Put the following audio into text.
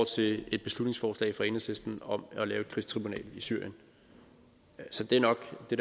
til et beslutningsforslag fra enhedslisten om at lave et krigstribunal i syrien så det er nok det